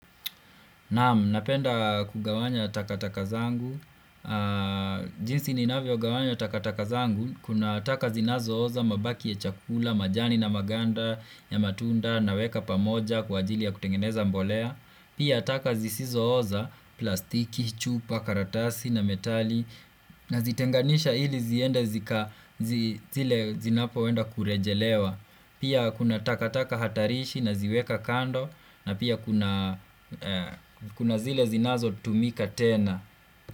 Naam, napenda kugawanya takataka zangu. Jinsi ninavyo gawanya takataka zangu. Kuna taka zinazo oza, mabaki ya chakula, majani na maganda ya matunda naweka pamoja kwa ajili ya kutengeneza mbolea. Pia taka zisizo oza plastiki, chupa, karatasi na metali nazitenganisha ili zinapoenda kurejelewa Pia kuna takataka hatarishi naziweka kando na pia kuna kuna zile zinazo tumika tena.